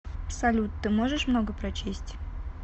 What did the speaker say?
салют ты можешь много прочесть